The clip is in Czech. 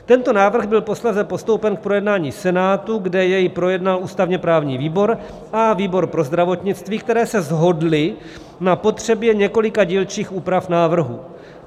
Tento návrh byl posléze postoupen k projednání Senátu, kde jej projednal ústavně-právní výbor a výbor pro zdravotnictví, které se shodly na potřebě několika dílčích úprav návrhu.